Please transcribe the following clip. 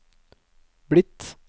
blitt